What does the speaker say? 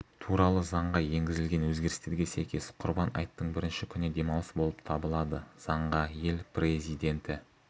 туралы заңға енгізілген өзгерістерге сәйкес құрбан айттың бірінші күні демалыс болып табылады заңға ел президенті